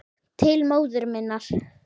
Til móður minnar.